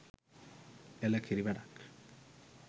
එළ කිරි වැඩක්